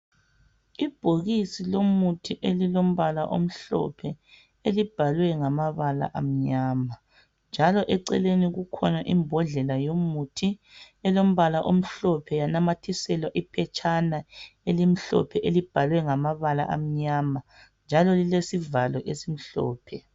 Ibhokisi lomuthi elilombala omhlophe elibhalwe ngamabala amnyama .Njalo eceleni kukhona imbodlela yomuthi elombala omhlophe yanamathiselwa iphetshana elimhlophe elibhalwe ngamabala amnyama .Njalo lilesivalo esimhlophe .